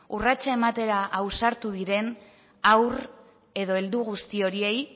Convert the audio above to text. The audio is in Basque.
urratsa ematera ausartu diren haur edo heldu guzti horiei